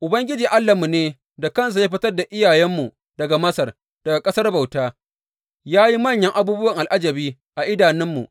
Ubangiji Allahnmu ne da kansa ya fitar da iyayenmu daga Masar, daga ƙasar bauta, ya yi manyan abubuwan al’ajabi, a idanunmu.